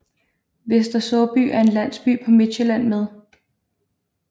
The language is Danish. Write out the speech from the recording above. Vester Såby er en landsby på Midtsjælland med